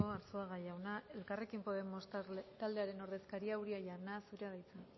arzuaga jauna elkarrekin podemos taldearen ordezkaria uria jauna zurea da hitza